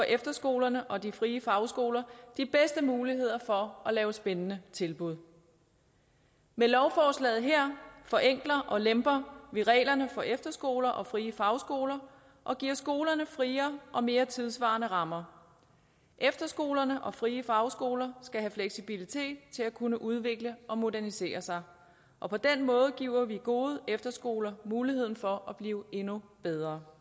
efterskolerne og de frie fagskoler de bedste muligheder for at lave spændende tilbud med lovforslaget her forenkler og lemper vi reglerne for efterskoler og frie fagskoler og giver skolerne friere og mere tidssvarende rammer efterskolerne og de frie fagskoler skal have fleksibilitet til at kunne udvikle og modernisere sig og på den måde giver vi gode efterskoler mulighed for at blive endnu bedre